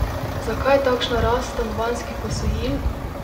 Zakaj takšna rast stanovanjskih posojil?